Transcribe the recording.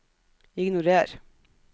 ignorer